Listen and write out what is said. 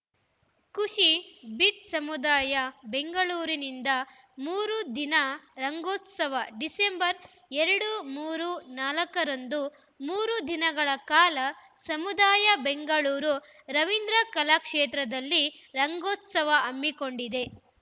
ಖುಷಿ ಬಿಟ್‌ ಸಮುದಾಯ ಬೆಂಗಳೂರಿನಿಂದ ಮೂರು ದಿನ ರಂಗೋತ್ಸವ ಡಿಸೆಂಬರ್‌ ಎರಡು ಮೂರು ನಾಲ್ಕ ರಂದು ಮೂರು ದಿನಗಳ ಕಾಲ ಸಮುದಾಯ ಬೆಂಗಳೂರು ರವೀಂದ್ರ ಕಲಾಕ್ಷೇತ್ರದಲ್ಲಿ ರಂಗೋತ್ಸವ ಹಮ್ಮಿಕೊಂಡಿದೆ